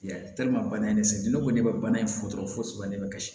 Ya bana in ne sɛgɛnnen ne ko ne bɛ bana in foto fɔ fosi de bɛ kasi